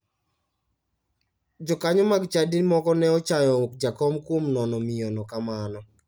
Jokanyo mag chadi moko ne ochayo jakom kuom nono miyono kamano.